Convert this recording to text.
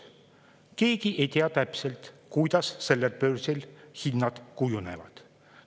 Keegi ei tea täpselt, kuidas sellel börsil hinnad kujunevad.